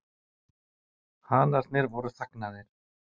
Hanarnir voru þagnaðir.